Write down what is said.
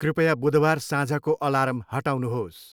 कृपया बुधबार साँझको आलार्म हटाउनुहोस्।